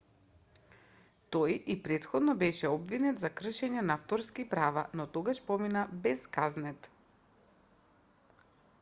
тој и претходно беше обвинет за кршење на авторски права но тогаш помина без казнет